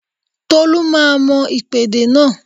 Tolu máa mọ ìpèdè náà